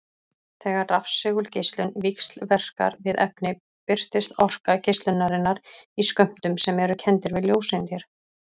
Þegar rafsegulgeislun víxlverkar við efni birtist orka geislunarinnar í skömmtum sem eru kenndir við ljóseindir.